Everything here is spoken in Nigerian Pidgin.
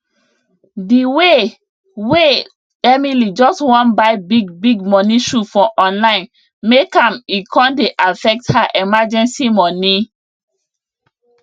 di way way emily just wan buy big big money shoe for online make am e con dey affect her emergency money